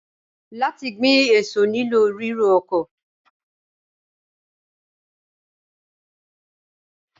Láti gbin èso nílò ríro oko.